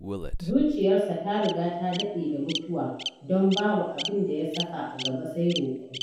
Zuciyarsa ta riga ta daɗe da mutuwa, don babu abin da ya saka a gaba sai roƙo.